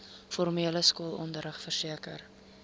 formele skoolonderrig verseker